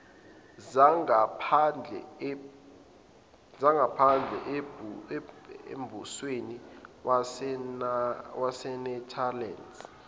zangaphandle embusweni wasenetherlands